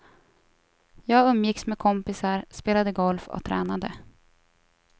Jag umgicks med kompisar, spelade golf och tränade.